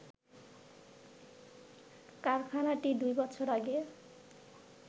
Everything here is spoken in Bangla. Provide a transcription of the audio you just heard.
কারখানাটি দুইবছর আগে